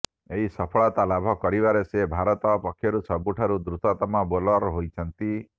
ଏହି ସଫଳତା ଲାଭ କରିବାରେ ସେ ଭାରତ ପକ୍ଷରୁ ସବୁଠାରୁ ଦ୍ରୁତ ତମ ବୋଲର୍ ହୋଇଛନ୍ତି